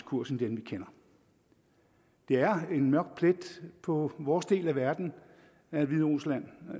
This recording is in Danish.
kurs end den vi kender det er en mørk plet på vores del af verden at hviderusland